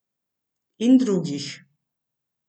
In drugih.